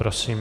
Prosím.